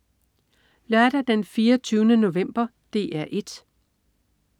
Lørdag den 24. november - DR 1: